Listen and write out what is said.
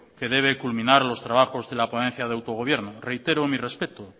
que debe culminar los trabajos de la ponencia del autogobierno reitero mi respeto